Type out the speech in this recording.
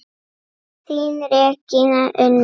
Þín Regína Unnur.